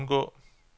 undgå